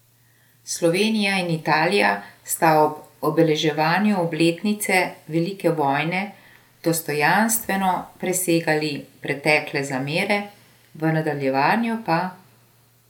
Slovenija in Italija sta ob obeleževanju obletnice velike vojne dostojanstveno presegali pretekle zamere, v nadaljevanju pa ...